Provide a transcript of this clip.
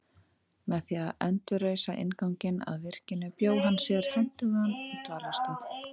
Með því að endurreisa innganginn að virkinu bjó hann sér hentugan dvalarstað.